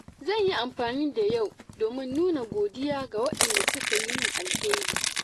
Zan yi amfani da yau domin nuna godiya ga waɗanda suka yi min alheri.